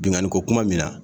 Binnkanniko kuma min na